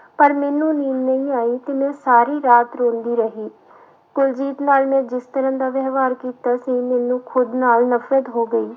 ਪਰ ਮੈਨੂੰ ਨੀਂਦ ਨਹੀਂ ਆਈ ਤੇ ਮੈਂ ਸਾਰੀ ਰਾਤ ਰੋਂਦੀ ਰਹੀ ਕੁਲਜੀਤ ਨਾਲ ਮੈਂ ਜਿਸ ਤਰ੍ਹਾਂ ਦਾ ਵਿਵਹਾਰ ਕੀਤਾ ਸੀ ਮੈਨੂੰ ਖੁੱਦ ਨਾਲ ਨਫ਼ਰਤ ਹੋ ਗਈ।